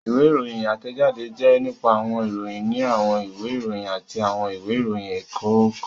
Ìwé ìròyìn átẹ̀jáde jẹ́ nípa àwọn ìròyìn ní àwọn ìwé ìròyìn àti àwọn ìwé ìròyìn ẹ̀kọ́ kan